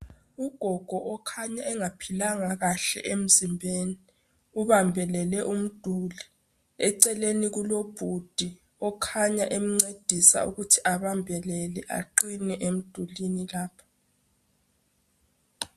Ugogo okhanya engaphilanga kahle emzimbeni, ubambelele umduli, eceleni kulobhudi okhanya emncedisa ukuthi abambelele aqine emdulini lapho.